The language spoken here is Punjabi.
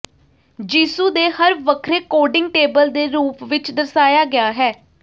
ਯਿਸੂ ਦੇ ਹਰ ਵੱਖਰੇ ਕੋਡਿੰਗ ਟੇਬਲ ਦੇ ਰੂਪ ਵਿਚ ਦਰਸਾਇਆ ਗਿਆ ਹੈ